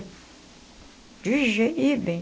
De jeito ih, bem.